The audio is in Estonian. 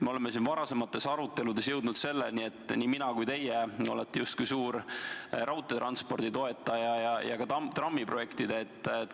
Me oleme siin varasemates aruteludes jõudnud selleni, et nii mina kui teie olete justkui suur raudteetranspordi ja ka trammiprojektide toetaja.